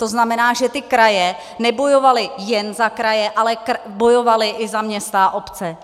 To znamená, že ty kraje nebojovaly jen za kraje, ale bojovaly i za města a obce.